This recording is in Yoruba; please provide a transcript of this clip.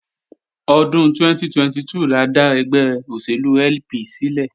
Ọdún 2002 la dá ẹgbẹ́ òṣèlú LP sílẹ̀